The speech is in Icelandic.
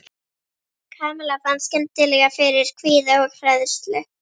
Kamilla fann skyndilega fyrir kvíða og hræðslu.